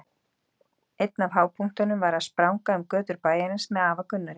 Einn af hápunktunum var að spranga um götur bæjarins með afa Gunnari.